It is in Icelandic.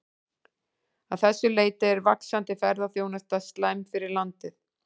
Að þessu leyti er vaxandi ferðaþjónusta slæm fyrir landið.